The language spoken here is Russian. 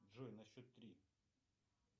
джой на счет три